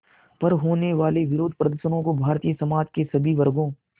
पर होने वाले विरोधप्रदर्शनों को भारतीय समाज के सभी वर्गों